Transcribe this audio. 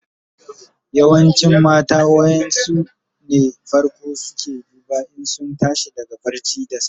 Yawancin mata wayan su ne fako suke duba in sun tashi daga barci da safe.